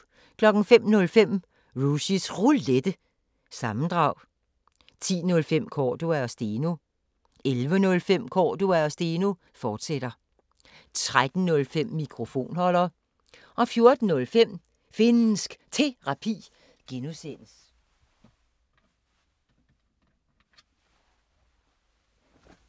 05:05: Rushys Roulette – sammendrag 10:05: Cordua & Steno 11:05: Cordua & Steno, fortsat 13:05: Mikrofonholder 14:05: Finnsk Terapi (G)